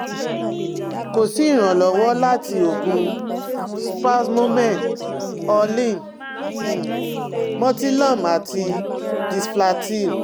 Ko si iranlọwọ lati oogun Spasmomen Orlin, um Motilum ati Disflatyl